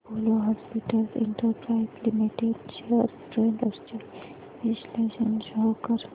Apollo hospitals enterprise limited shares trends चे विश्लेषण show कर